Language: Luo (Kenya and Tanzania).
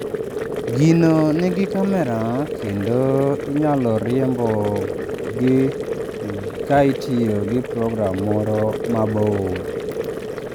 Gino nigi kamera kendo inyalo riembogi ka itiyo gi program moro mabor.